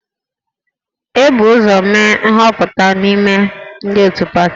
E bu ụzọ mee nhọpụta n'ime ndị otu pati